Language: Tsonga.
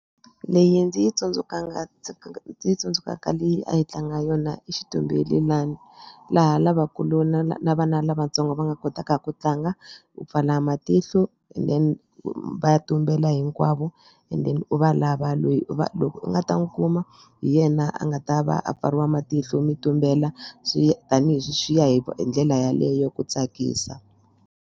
Leyi ndzi yi ndzi yi tsundzukaka leyi a hi tlanga yona i xitumbelelani laha lavakulu na na vana lavatsongo va nga kotaka ku tlanga u pfala matihlo and then va ya tumbela hinkwavo and then u va lava lweyi u va loko u nga ta n'wi kuma hi yena a nga ta va a pfariwa matihlo mi tumbela swi tanihi sweswiya hi ndlela yaleyo ku tsakisa.